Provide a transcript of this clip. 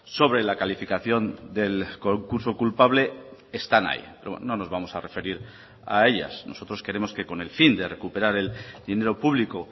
sobre la calificación del concurso culpable están ahí no nos vamos a referir a ellas nosotros queremos que con el fin de recuperar el dinero público